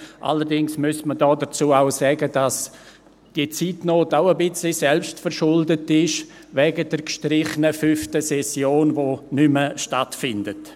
Allerdings müsste man dazu auch sagen, dass diese Zeitnot auch ein wenig selbstverschuldet ist, wegen der gestrichenen fünften Session, welche nicht mehr stattfindet.